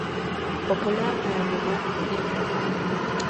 популярные аниме фильмы